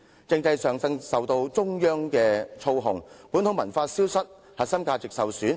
"另一方面，香港政制為中央所操控，以致本土文化逐漸消失，核心價值受損。